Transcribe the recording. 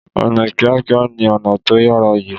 Ọ̀nà kíákíá ni ọ̀nà tó yára jù.